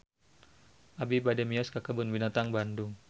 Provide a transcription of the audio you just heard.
Abi bade mios ka Kebun Binatang Bandung